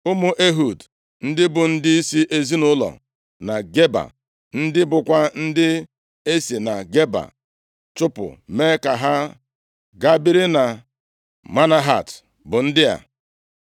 Ụmụ Ehud ndị bụ ndịisi ezinaụlọ na Geba, ndị bụkwa ndị e si na Geba chụpụ mee ka ha gaa biri na Manahat bụ ndị a: